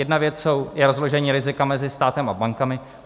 Jedna věc je rozložení rizika mezi státem a bankami.